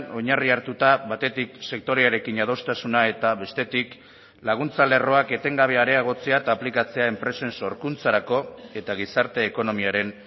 oinarri hartuta batetik sektorearekin adostasuna eta bestetik laguntza lerroak etengabe areagotzea eta aplikatzea enpresen sorkuntzarako eta gizarte ekonomiaren